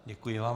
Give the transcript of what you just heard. Děkuji vám.